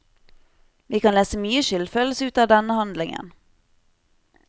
Vi kan lese mye skyldfølelse ut av denne handlingen.